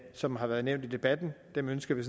som har været nævnt i debatten dem ønsker vi